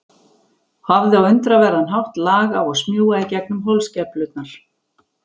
Hafði á undraverðan hátt lag á að smjúga í gegnum holskeflurnar.